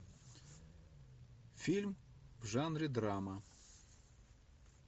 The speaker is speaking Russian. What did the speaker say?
фильм в жанре драма